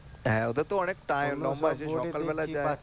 হ্যাঁ ওদের তো অনেক লম্বা সেই সকাল বেলা যায়